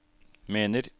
mener